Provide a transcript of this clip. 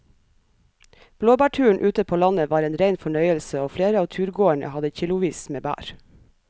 Blåbærturen ute på landet var en rein fornøyelse og flere av turgåerene hadde kilosvis med bær.